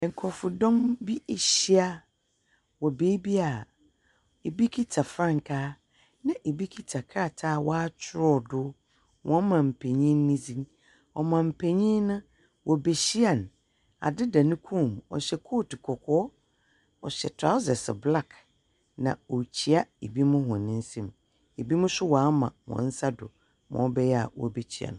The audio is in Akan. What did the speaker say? Nkorɔfodɔm bi ehyia wɔ beebi a bi kita frankaa na bi kita krataa a wɔakyerɛw do, wɔn manpenyin no dzin. Ɔmanpenyin no, wobehyia no. ade da ne kɔn mu. Ɔhyɛ coat kɔkɔɔ. Ɔhyɛ trousers black, na orikyia binom hɔn nsam. Binomnso wɔama hɔn nsa do ma ɔbɛyɛ a wobekyia no.